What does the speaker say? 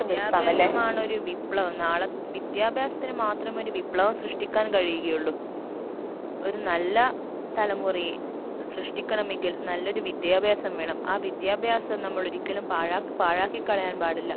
വിദ്യാഭ്യാസമാണൊരു വിപ്ലവം നാളെ വിദ്യാഭ്യാസത്തിന് മാത്രം ഒരു വിപ്ലവം സൃഷ്ട്ടിക്കാൻ കഴിയുകയുള്ളു ഒരു നല്ല തലമുറയെ സൃഷ്ടിക്കണമെങ്കിൽ നല്ലൊരു വിദ്യാഭ്യാസം വേണം ആ വിദ്യാഭ്യാസം നമ്മളൊരിക്കലും പാഴാക്ക് പാഴാക്കി കളയാൻ പാടില്ല